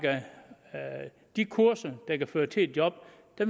de kurser der kan føre til et job